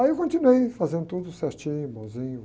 Aí eu continuei fazendo tudo certinho, bomzinho.